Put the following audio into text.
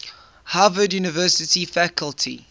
harvard university faculty